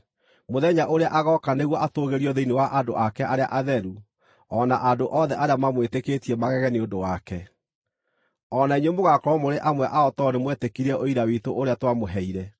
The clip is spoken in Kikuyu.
mũthenya ũrĩa agooka nĩguo atũũgĩrio thĩinĩ wa andũ ake arĩa atheru, o na andũ othe arĩa mamwĩtĩkĩtie magege nĩ ũndũ wake. O na inyuĩ mũgaakorwo mũrĩ amwe ao tondũ nĩmwetĩkirie ũira witũ ũrĩa twamũheire.